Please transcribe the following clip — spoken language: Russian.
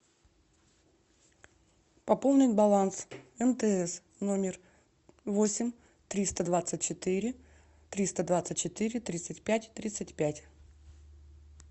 пополнить баланс мтс номер восемь триста двадцать четыре триста двадцать четыре тридцать пять тридцать пять